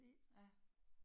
Ja